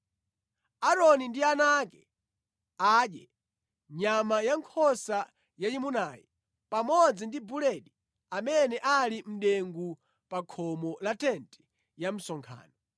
Aaroni ndi ana ake adye nyama ya nkhosa yayimunayi pamodzi ndi buledi amene ali mʼdengu pa khomo la tenti ya msonkhano.